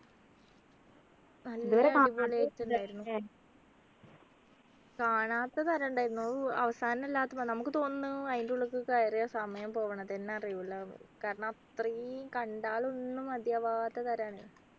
നല്ല ഉണ്ടായിരുന്നു ല്ലേ കാണാത്ത തരം ഉണ്ടായിരുന്നു അവ് അവസാനം എല്ലാത്ത നമുക്ക് തോന്നുന്നു അതിൻ്റെ ഉള്ളിക്ക് കേറിയ സമയം പോവണതെന്നെ അറിയൂല ന്നു കാരണം അത്രേം കണ്ടാൽ ഒന്നും മതിയാവാത്ത തരാണ്